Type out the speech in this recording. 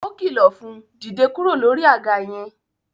O kilọ fún, "Dìde kúrò lórí àga yẹn!